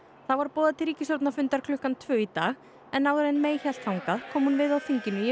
þá var boðað til ríkisstjórnarfundar klukkan tvö í dag en áður en hélt þangað kom hún við á þinginu í